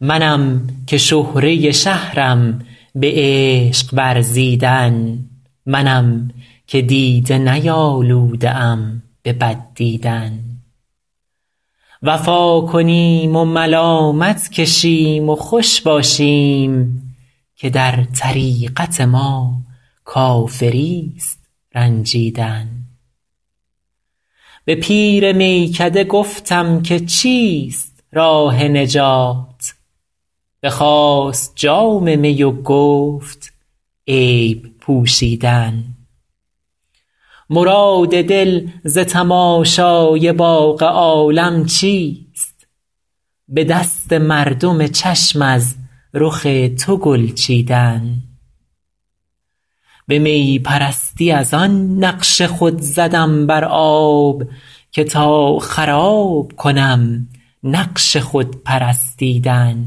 منم که شهره شهرم به عشق ورزیدن منم که دیده نیالوده ام به بد دیدن وفا کنیم و ملامت کشیم و خوش باشیم که در طریقت ما کافریست رنجیدن به پیر میکده گفتم که چیست راه نجات بخواست جام می و گفت عیب پوشیدن مراد دل ز تماشای باغ عالم چیست به دست مردم چشم از رخ تو گل چیدن به می پرستی از آن نقش خود زدم بر آب که تا خراب کنم نقش خود پرستیدن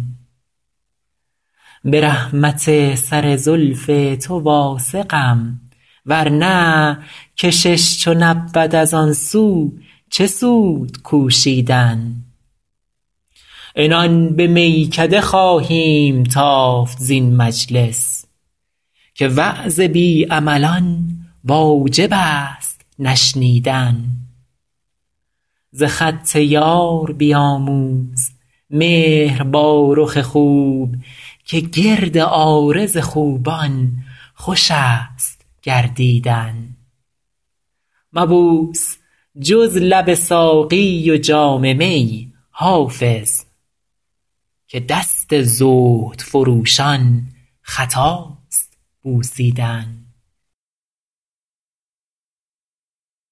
به رحمت سر زلف تو واثقم ورنه کشش چو نبود از آن سو چه سود کوشیدن عنان به میکده خواهیم تافت زین مجلس که وعظ بی عملان واجب است نشنیدن ز خط یار بیاموز مهر با رخ خوب که گرد عارض خوبان خوش است گردیدن مبوس جز لب ساقی و جام می حافظ که دست زهد فروشان خطاست بوسیدن